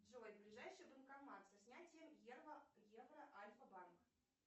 джой ближайший банкомат со снятием евро альфа банк